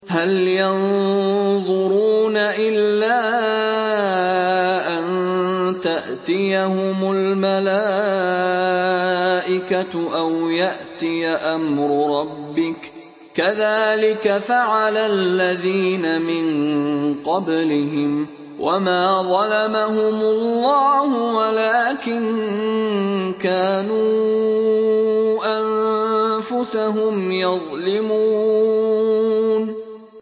هَلْ يَنظُرُونَ إِلَّا أَن تَأْتِيَهُمُ الْمَلَائِكَةُ أَوْ يَأْتِيَ أَمْرُ رَبِّكَ ۚ كَذَٰلِكَ فَعَلَ الَّذِينَ مِن قَبْلِهِمْ ۚ وَمَا ظَلَمَهُمُ اللَّهُ وَلَٰكِن كَانُوا أَنفُسَهُمْ يَظْلِمُونَ